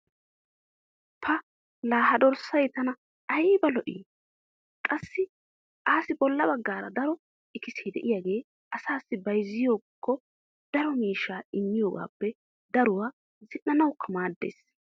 pa laa ha dorssay tana ayba lo'i! qassi assi bola bagaara daro ikkisee diyaagee asaassi bayzziyaakko daro miishshaa immiyoogaappe daruwa zin'anawukka maadees.